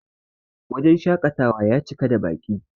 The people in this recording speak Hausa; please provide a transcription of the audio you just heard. wajen shakatawa ya cika da Baki